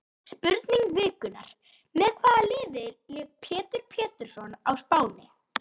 Spurning vikunnar: Með hvaða liði lék Pétur Pétursson á Spáni?